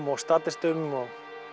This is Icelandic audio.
og statistum og